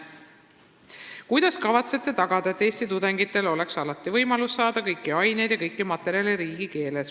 Teine küsimus: "Kuidas kavatsete tagada, et eesti tudengitel oleks alati võimalik saada kõiki aineid ja kõiki materjale riigikeeles?